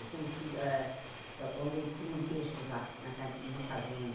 Eu conheci hã on onde eles criam peixe lá, na ca numa fazenda.